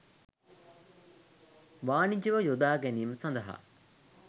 වානිජව යොදාගැනීම සඳහා